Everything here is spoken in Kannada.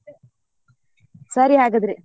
ಸರಿ ಹಾಗಿದ್ರೆ.